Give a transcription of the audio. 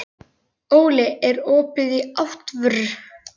Óli, er opið í ÁTVR?